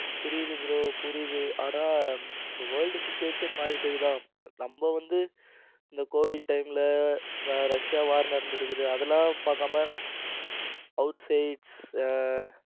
புரியுது bro புரியுது ஆனா இப்ப world situation மாறிடுச்சு தான் நம்ம வந்து இந்த covid time ல ரஷ்யா வார் நடந்துகிட்டு இருக்கு அதெல்லாம் பார்க்காம out sides